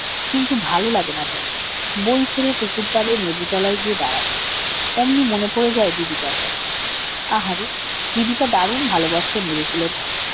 কিন্তু ভালো লাগে না তার বই ছেড়ে পুকুরপাড়ের লেবু তলায় গিয়ে দাঁড়ায় অমনি মনে পড়ে যাই দিদিটার কথা। আহারে দিদিটা দারুন ভালোবাসতো লেবু ফুলের গন্ধ